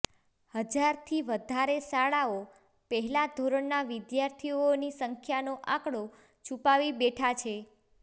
હજારથી વધારે શાળાઓ પહેલા ધોરણના વિદ્યાર્થીઓની સંખ્યાનો આંકડો છુપાવી બેઠા છે